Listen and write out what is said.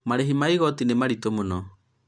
marĩhi ma igoti nĩ maritũ mũno